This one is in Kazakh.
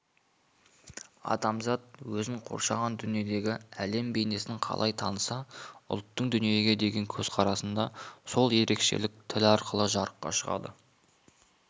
адамзат өзін қоршаған дүниедегі әлем бейнесін қалай таныса ұлттың дүниеге деген көзқарасында сол ерекшелік тіл арқылы жарыққа шығады